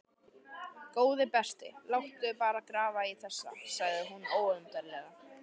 Góði besti, láttu bara grafa í þessu sagði hún ólundarlega.